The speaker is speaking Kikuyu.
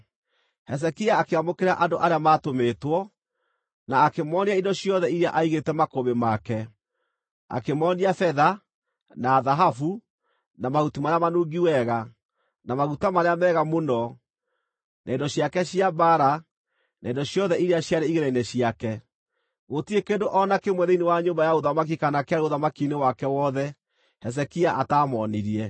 Hezekia akĩamũkĩra andũ arĩa maatũmĩtwo, na akĩmoonia indo ciothe iria aigĩte makũmbĩ make, akĩmoonia betha, na thahabu, na mahuti marĩa manungi wega, na maguta marĩa mega mũno, na indo ciake cia mbaara, na indo ciothe iria ciarĩ igĩĩna-inĩ ciake. Gũtirĩ kĩndũ o na kĩmwe thĩinĩ wa nyũmba ya ũthamaki kana kĩarĩ ũthamaki-inĩ wake wothe Hezekia ataamoonirie.